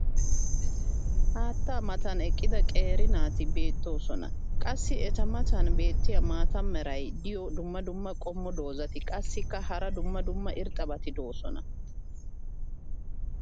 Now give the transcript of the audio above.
haattaa matan eqqida qeeri naati beetoosona. qassi eta matan beetiya maata mala meray diyo dumma dumma qommo dozzati qassikka hara dumma dumma irxxabati doosona.